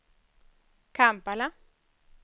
Kampala